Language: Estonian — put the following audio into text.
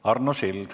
Arno Sild.